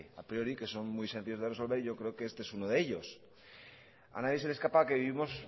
a priori que son muy sencillos de resolver y yo creo que uno este es uno de ellos a nadie se le escapa que vivimos